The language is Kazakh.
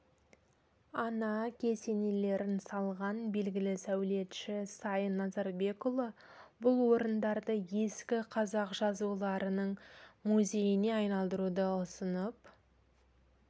ана кесенелерін салған белгілі сәулетші сайын назарбекұлы бұл орындарды ескі қазақ жазуларының музейіне айналдыруды ұсынып